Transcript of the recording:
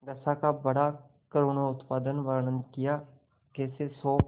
दशा का बड़ा करूणोत्पादक वर्णन कियाकैसे शोक